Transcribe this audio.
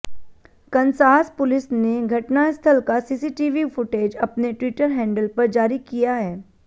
Kansas police ने घटनास्थल का सीसीटीवी फुटेज अपने ट्विटर हैंडल पर जारी किया है